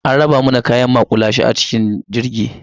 An raba mana kayan maƙulashe a cikin jirgi.